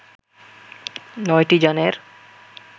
নয়টি যানের